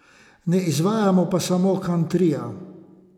Ne izvajamo pa samo kantrija.